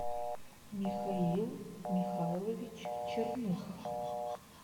михаил михайлович черных